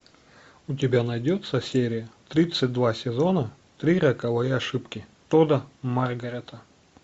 у тебя найдется серия тридцать два сезона три роковые ошибки тодда маргарета